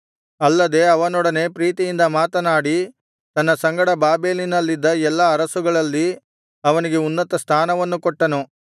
ಅಲ್ಲದೆ ಅವನೊಡನೆ ಪ್ರೀತಿಯಿಂದ ಮಾತನಾಡಿ ತನ್ನ ಸಂಗಡ ಬಾಬೆಲಿನಲ್ಲಿದ್ದ ಎಲ್ಲಾ ಅರಸುಗಳಲ್ಲಿ ಅವನಿಗೆ ಉನ್ನತಸ್ಥಾನವನ್ನು ಕೊಟ್ಟನು